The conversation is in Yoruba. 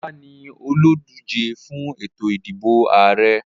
Bola ní oludije fún ètò ìdìbò Ààrẹ.